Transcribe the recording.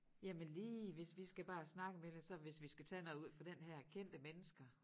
Jamen lige hvis vi skal bare snakke om et eller andet så hvis vi skal tage noget ud fra den her kendte mennesker